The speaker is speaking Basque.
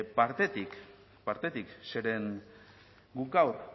partetik zeren guk gaur